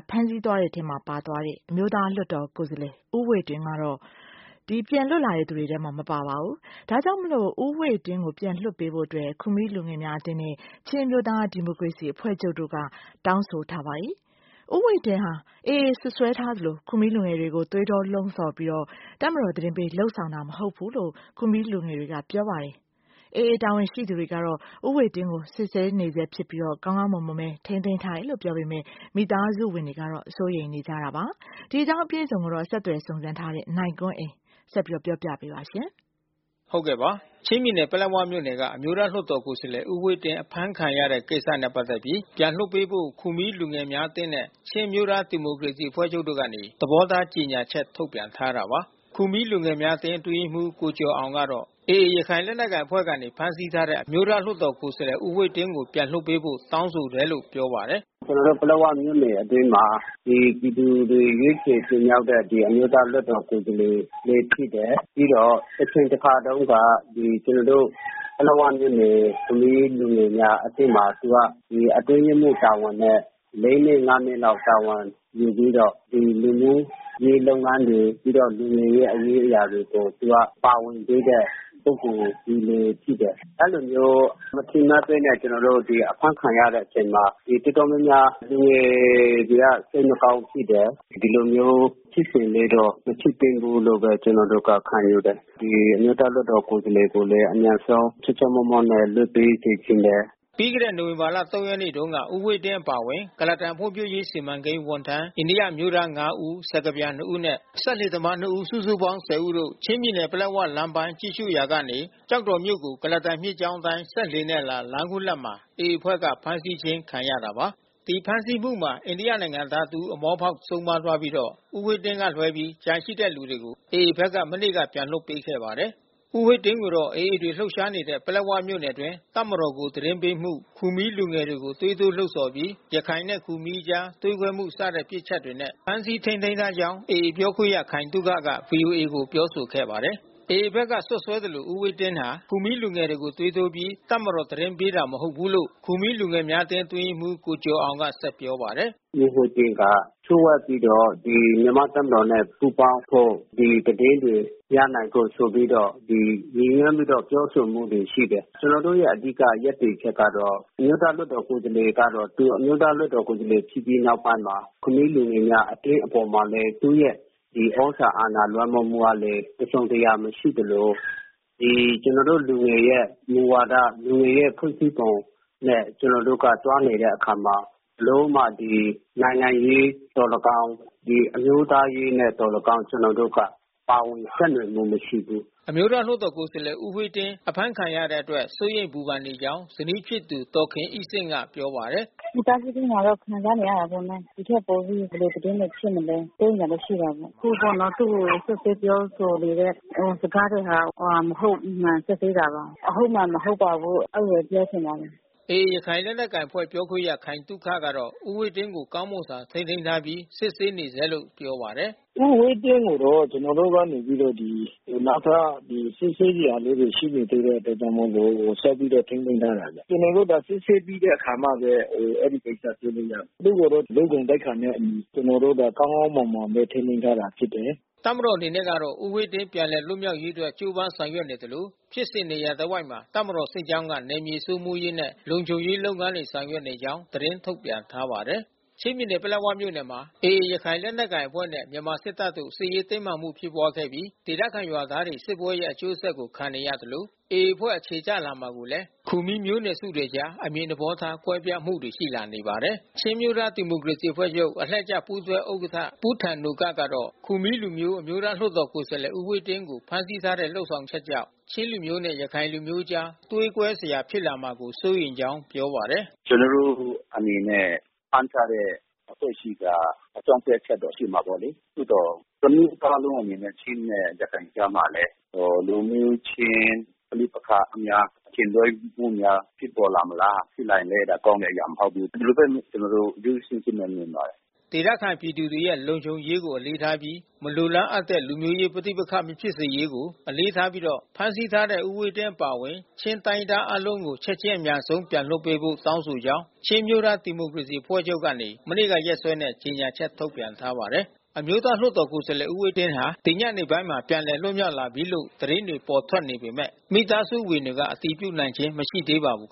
ဖမ်းဆီးသွားတဲ့ အမျိုးသားလွှတ်တော်ကိုယ်စားလှယ် ဦးဝှေ့တင်းကိုပြန်လွှတ်ပေးဖို့ ခူမီးလူငယ်များအသင်းနဲ့ ချင်းအမျိုးသားဒီမိုကရေစီအဖွဲ့ချုပ်တို့ကနေ သဘောထားထုတ်ပြန်တောင်းဆိုထားတာပါ။ ဦးဝှေ့တင်းဟာ AA စွပ်စွဲထားသလို ခူမီးလူငယ်တွေကို သွေးထိုးလှုံ့ဆော်ပြီး တပ်မတော်သတင်းပေး လုပ်ဆောင်တာ မဟုတ်ဘူးလို့ ခူမီးလူငယ် တာဝန်ရှိသူတွေက ဆိုပါတယ်။ AA တာဝန်ရှိသူကတော့ ဦးဝှေ့တင်းကိုစစ်ဆေးနေဆဲဖြစ်ပြီး ကောင်းမွန်စွာ ထိန်းသိမ်းထားတယ်လို့ပြောပေမဲ့ မိသားစုဝင်တွေကစိုးရိမ်နေကြတာပါ။ အပြည့်အစုံကိုဆက်သွယ်စုံစမ်း ထားတဲ့ နိုင်ကွန်းအိန်ကနေ သတင်းပေးပို့ထားပါတယ်။ ချင်းပြည်နယ် ပလက်ဝမြို့နယ်က အမျိုးသားလွှတ်တော် ကိုယ်စားလှယ်ဦးဝှေ့တင်း အဖမ်းခံရတဲ့ကိစ္စနဲ့ပက်သက်ပြီး ပြန်လွှတ်ပေးဖို့ ခူမီးလူငယ်များ အသင်းနဲ့ ချင်းအမျိုးသားဒီမိုကရေစီအဖွဲ့ချုပ်တို့ကနေ သဘောထားကြေညာ ချက် ထုတ်ပြန်ထားတာပါ။ ခူမီးလူငယ်များအသင်းအတွင်းရေးမှူး ကိုကျော်အောင်ကတော့ AAရခိုင်လက်နက်ကိုင်အဖွဲ့ကနေဖမ်းဆီးထားတဲ့ အမျိုးသားလွှတ်တော်ကိုယ်စားလှယ်ဦးဝှေ့တင်းကိုပြန်လွှတ်ပေးဖို့တောင်းဆိုတယ်လို့ပြောပါတယ်။ “ကျွန်နော်တို့ပလက်ဝမြို့နယ်အတွင်းမှာ ဒီ ပြည်သူတွေရွေးချယ်တင်မြောက်တဲ့ အမျိုးသားလွှတ်တော်ကိုယ်စားလှယ် လဲဖြစ်တယ်။ ပြီးတော့တချိန်တခါတုန်းကကျွန်နော်တို့ ပလက်၀ မြို့နယ် ခူမီးလူငယ်များအသင်းမှာ သူကအတွင်းရေးမှူး တာဝန်နဲ့ (၄)နှစ်(၅)နှစ်လောက် တာဝန်ယူပြီးတော့ လူမျိုးရေးလုပ်ငန်းတွေ ပြီးတော့လူငယ်ရဲ့ရေးရာလုပ်ငန်းတွေကို သူက ပါဝင်ခဲ့တဲ့ ပုဂ္ဂိုလ်တဦးလဲဖြစ်တယ်။ အဲဒီလိုမျိုးမထင်မှတ်ဘဲနဲ့ကျွန်တော်တို့ အဖမ်းခံရတဲ့အချိန်မှာ တော်တော်များ များ လူငယ်တွေကစိတ်မကောင်းဖြစ်တယ်။ ဒီလိုမျိုးဖြစ်စဉ်လေးတော့ မဖြစ်သင့်ဘူးလို့ဘဲ ကျွန်နော်တို့တော့ခံယူတယ်။ ဒီအမျိုးသား လွှတ်တော်ကိုယ်စားလှယ်ကိုလဲ အမြန်ဆုံးချောချောမောမောနဲ့လွှတ်ပေးစေချင်တယ်။” ပြီးခဲ့တဲ့ နိုဝင်ဘာလ(၃)ရက်နေ့တုန်းက ဦးဝှေ့တင်းအပါဝင် ကုလားတန်ဖွံ့ဖြိုးရေး စီမံကိန်းဝန်ထမ်းအိန္ဒိယ အမျိုးသား (၅)ဦး စကားပြန်(၂)ဦးနဲ့ စက်လှေသမားနှစ်ဦး စုစုပေါင်း(၁၀)ဦးတို့ ချင်းပြည်နယ်၊ ပလက်ဝလမ်းပိုင်းကြည့်ရှုရာကနေ ကျောက်တော်မြို့ကို ကုလားတန်မြစ်ကြောင်းအတိုင်းစက်လှေနဲ့အလာ လမ်းခုလတ်မှာ AAအဖွဲ့ကနေဖမ်းဆီးခြင်း ခံရတာပါ။ ဒီဖမ်းဆီးမှုမှာ အိန္ဒိယနိုင်ငံသားတဦးအမောဖောက်ဆုံးပါးသွားပြီးတော့ ဦးဝှေ့တင်းကလွှဲပြီးကျန်တဲ့သူတွေကို AAဖက် ကနေ မနေ့ကပြန်လွှတ်ပေးခဲ့ပါတယ်။ ဦးဝှေ့တင်းကိုတော့ AAတပ်တွေလှုပ်ရှားနေတဲ့ပလက်ဝမြို့နယ်အတွင်း တပ်မတော်ကိုသတင်းပေးမှု ခူမီးလူငယ်တွေ ကို သွေးထိုးလှုံ့ဆော်ပြီး ရခိုင်နဲ့ခူမီးအကြားသွေးခွဲမှု စတဲ့ပြစ်ချက်တွေနဲ့ ဖမ်းဆီးထိန်းသိမ်း ထားကြောင်း AAပြောခွင့်ရ ခိုင်သုခက ဗွီအိုအေကိုပြောဆိုခဲ့ပါတယ်။ AAဖက်ကစွပ်စွဲသလို ဦးဝှေ့တင်းဟာ ခူမီးလူငယ်တွေကိုသွေးထိုးပြီး တပ်မတော် သတင်းပေးတာမဟုတ်ဘူးလို့ ခူမီးလူ ငယ်များအသင်းအတွင်းရေးမှူး ကိုကျော်အောင်က ဆက်ပြောပါတယ်။ “ဦးဝှေ့တင်းက လျှို့ဝှက်ပြီးတော့ မြန်မာ့တပ်မတော်နဲ့ပူးပေါင်းဖို့ ဒီသတင်းတွေ ရနိုင်ဖို့ဆိုပြီးတော့ ရည်ညွှန်းပြီးတော့ ပြောဆို တာရှိတယ်။ ကျွန်နော်တို့ရဲ့ အဓိက ရပ်တည်ချက်ကတော့ အမျိုးသားလွှတ်တော်ကိုယ်စားလှယ်ကတော့ သူအမျိုးသားလွှတ်တော် ကိုယ်စားလှယ်ဖြစ်ပြီးနောက်ပိုင်း ခူမီးလူငယ်များအသင်းအပေါ်မှာလဲ သူ့ရဲ့သြဇာအာဏာ လွှမ်းမိုးမှုကလဲ တစုံတရာမရှိသလို လူငယ်ရဲ့မူဝါဒ လူငယ်ရဲ့ဖွဲ့စည်းပုံနဲ့ကျွန်နော်တို့က သွားနေတဲ့ အခါ မှာ ဘယ်လိုမှ နိုင်ငံရေးသော်၎င်း အမျိုးသားရေးနဲ့သော်၎င်း ကျွန်တော်တို့က ပါဝင် ယှက်နွယ်မှုမရှိဘူး။” အမျိုးသားလွှတ်တော်ကိုယ်စားလှယ်ဦးဝှေ့တင်းအဖမ်းခံရတဲ့အတွက်စိုးရိမ်ပူပန်နေကြောင်းဇနီးဖြစ်သူဒေါ်ခင်အိဆင့်ကပြောပါတယ်။ “မိသားစုအတွင်းမှာတော့ခံစားနေရတာပေါ့နော်။ ဒီထက်ပိုပြီးဘယ်လိုသတင်းတွေဖြစ်မလဲ စိုးရိမ်တာတော့ရှိတာပေါ့။ အခုပေါ့နော် သူ့ကိုစွပ်စွဲပြောဆိုနေတဲ့ စကားတွေဟာ မဟုတ်မမှန် စွပ်စွဲတာပါ။ အဟုတ်အမှန် မဟုတ်ပါဘူး အဲဒီလို ပြောချင်ပါတယ်။” AAရခိုင်လက်နက်ကိုင်အဖွဲ့ပြောခွင့်ရခိုင်သုခကတော့ ဦးဝှေ့တင်းကို ကောင်းမွန်စွာထိန်းသိမ်းထားပြီး စစ်ဆေး နေဆဲ လို့ပြောပါတယ်။ “ဦးဝှေ့တင်းကိုတော့ ကျွန်နော်တို့ကနေပြီးတော့ နောက်ထပ်စစ်ဆေးစရာ လေးတွေရှိနေသေးတဲ့အတွက်ကြောင့်မို့လို့ ဆက်ပြီးတော့ထိန်းသိမ်းထားတာဗျ။ ကျွန်တော်တို့က စစ်ဆေးပြီးတဲ့အခါမှဘဲ အဲဒီကိစ္စဆွေးနွေးရမယ်။ သူ့ကိုတော့လ ူ့ ဂုဏ်သိက္ခာနဲ့အညီ ကျွန်တော်တို့က ကောင်းကောင်းမွန်မွန်နဲ့ထိန်းသိမ်းထားတာဖြစ်တယ်။” တပ်မတော်အနေနဲ့ကတော့ ဦးဝှေ့တင်းပြန်လည်လွတ်မြောက်ရေး အတွက် ကြိုးပမ်းဆောင်ရွက် နေသလို ဖြစ်စဉ်နေရာ တစ်ဝိုက်မှာ တပ်မတော်စစ်ကြောင်းက နယ်မြေစိုးမိုးရေးနဲ့ လုံခြုံရေး လုပ်ငန်းတွေဆောင်ရွက်နေကြောင်း သတင်းထုတ်ပြန်ထားပါတယ်။ ချင်းပြည်နယ်ပလက်ဝမြို့နယ်မှာ AAရခိုင်လက်နက်ကိုင်အဖွဲ့နဲ့ မြန်မာစစ်တပ်တို့ စစ်ရေးတင်းမာမှုဖြစ်ပွားခဲ့ပြီး ဒေသခံ ရွာသားတွေ စစ်ပွဲရဲ့အကျိုးဆက်ကိုခံနေရသလို AAအဖွဲ့ အခြေချလာမှုကိုလဲ ခူမီးမျိုးနွယ်စုတွေအကြား အမြင်သဘော ထားကွဲပြားမှုတွေရှိလာနေပါတယ်။ ချင်းအမျိုးသားဒီမိုကရေစီအဖွဲ့ချုပ်အလှည့်ကျပူးတွဲဥက္ကဌ ပူးထန်နိုကပ်ကတော့ ခူမီးလူမျိုး အမျိုးသားလွှတ်တော် ကိုယ်စားလှယ် ဦးဝှေ့တင်းကိုဖမ်းဆီးထားတဲ့လုပ်ဆောင်ချက်ကြောင့် ချင်းလူမျိုးနဲ့ ရခိုင်လူမျိုးအကြားသွေးကွဲစရာ ဖြစ်လာမှာကိုစိုးရိမ်ကြောင်းပြောပါတယ်။ “ကျွန်တော်တို့အနေနဲ့ ဖမ်းထားတဲ့အဖွဲ့အစည်းက အကြောင်းပြချက်တော့ရှိမှာပေါ့လေ။ သို့သော် တမျိုးသားလုံး ချင်းနဲ့ရခိုင်ကြားမှာလဲ လူမျိုးချင်း ပဋိပက္ခများ အထင်လွှဲမှုများ ဖြစ်ပေါ်လာမလား။ ဖြစ်လာရင် ကောင်းတဲ့အရာမဟုတ် ဘူး။ ဒီလိုဘဲကျွန်တော်တို့ရိုးရိုးရှင်းရှင်းနဲ့မြင်ပါတယ်။” ဒေသခံပြည်သူတွေရဲ့လုံခြုံရေးကိုအလေးထားပြီး မလိုလားအပ်တဲ့ လူမျိုးရေးပဋိပက္ခ မဖြစ်စေရေးကို အလေးထား ပြီးတော့ ဖမ်းဆီးထားတဲ့ ဦးဝှေ့တင်းအပါဝင်ချင်းတိုင်းရင်းသားအားလုံးကို ချက်ချင်း အမြန်ဆုံး ပြန်လွှတ်ပေးဖို့တောင်း ဆိုကြောင်း ချင်းအမျိုးသားဒီမိုကရေစီအဖွဲ့ချုပ်ကနေ မနေ့ကရက်စွဲနဲ့ကြေညာချက်ထုတ်ပြန်ထားပါတယ်။ အမျိုးသားလွှတ်တော် ကိုယ်စားလှယ် ဦးဝှေ့တင်းဟာ ဒီညနေပိုင်းမှာ ပြန်လည် လွတ်မြောက်လာပြီးလို့ သတင်းတွေပေါ် ထွက်နေပေမဲ့ မိသားစုဝင်တွေက အတည်ပြုနိုင်ခြင်း မရှိသေးပါဘူး